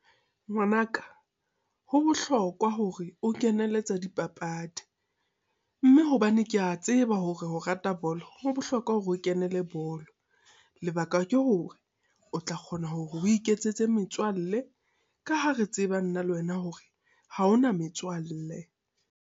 Ngwanaka, ho bohlokwa hore o kenele tsa dipapadi. Mme hobane ke a tseba hore o rata bolo, ho bohlokwa hore o kenele bolo. Lebaka ke hore o tla kgona hore o iketsetse metswalle. Ka ha re tseba nna le wena hore ha ona metswalle.